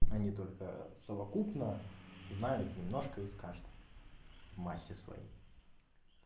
они только совокупно знают немножко из каждый массе своей